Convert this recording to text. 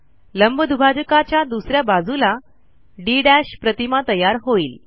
लंबदुभाजकाच्या दुस या बाजूला डी प्रतिमा तयार होईल